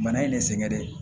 Bana in ye ne sɛgɛn de